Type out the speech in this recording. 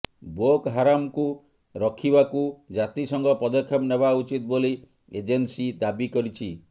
ବୋକ ହାରାମକୁ ରଖିବାକୁ ଜାତି ସଂଘ ପଦକ୍ଷେପ ନେବା ଉଚିତ ବୋଲି ଏଜେନ୍ସୀ ଦାବି କରିଛି